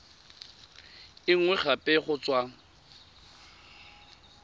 e nngwe gape go tswa